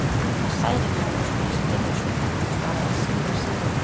Það særir mig að þú skulir spyrja svo, svaraði síra Sigurður.